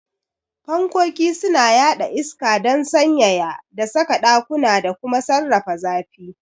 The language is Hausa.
Fankkoki suna yaɗa iska don sanyaya da saka ɗakuna da kuma sarrafa zafi.